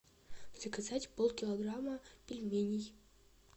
заказать полкилограмма пельменей